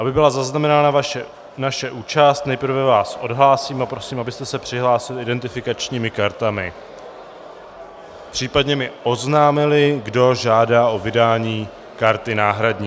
Aby byla zaznamenána naše účast, nejprve vás odhlásím a prosím, abyste se přihlásili identifikačními kartami, případně mi oznámili, kdo žádá o vydání karty náhradní.